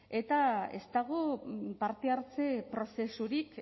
eta ez dago parte hartze prozesurik